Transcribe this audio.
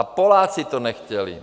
A Poláci to nechtěli.